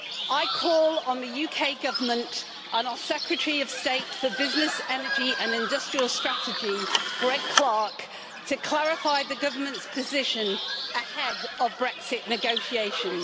I call on the UK Government and our Secretary of State for Business, Energy and Industrial Strategy, Greg Clark, to clarify the Government's position ahead of Brexit negotiations.